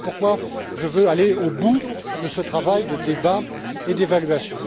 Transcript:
Voilà aussi pourquoi je veux aller au bout de ce travail de débat et d'évaluation.